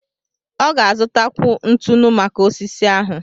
Ọ ga-azụtakwu ntụnụ maka osisi ahụ.